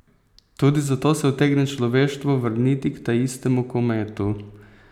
Tudi zato se utegne človeštvo vrniti k taistemu kometu.